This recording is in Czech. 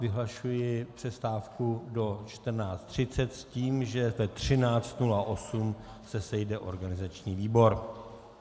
Vyhlašuji přestávku do 14.30 s tím, že ve 13.08 se sejde organizační výbor.